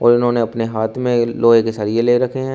इन्होंने अपने हाथ में लोहे के सरिया ले रखे हैं।